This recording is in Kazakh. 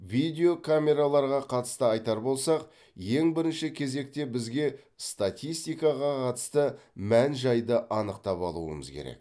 видео камераларға қатысты айтар болсақ ең бірінші кезекте бізге статистикаға қатысты мән жайды анықтап алуымыз керек